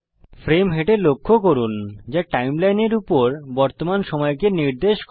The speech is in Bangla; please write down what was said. ফ্রেম হেড এ লক্ষ্য করুন যা সময়রেখার উপর বর্তমান সময়কে নির্দেশ করে